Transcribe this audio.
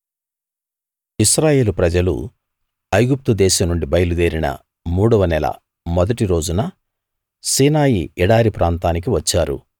ఇశ్రాయేలు ప్రజలు ఐగుప్తు దేశం నుండి బయలుదేరిన మూడవ నెల మొదటి రోజున సీనాయి ఎడారి ప్రాంతానికి వచ్చారు